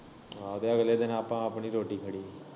ਹਾਂ ਤੇ ਅਗਲੇ ਦਿਨ ਆਪਾਂ ਆਪਣੀ ਰੋਟੀ ਖੜੀ।